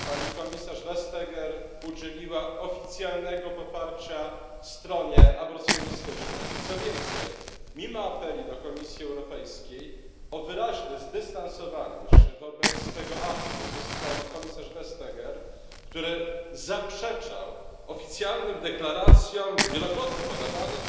Pani komisarz Vestager udzieliła oficjalnego poparcia stronie aborcjonistycznej i, co więcej, mimo apeli do Komisji Europejskiej o wyraźne zdystansowanie się wobec tego aktu ze strony komisarz Vestager, która zaprzeczała oficjalnym deklaracjom wielokrotnie podawanym,